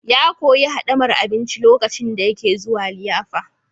Ya koyi hadamar abinci lokacin da yake zuwa liyafa.